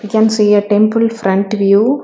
We can see a temple front view.